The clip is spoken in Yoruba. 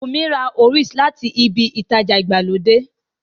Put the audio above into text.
Wùnmí ra Oreos láti ibi ìtajà ìgbàlódé